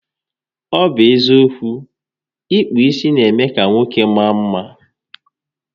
Ọ bụ eziokwu, ịkpụ isi n'eme ka nwoke maa mma